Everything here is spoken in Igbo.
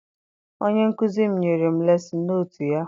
Onye nkụzi m nyere m lesin notu ya.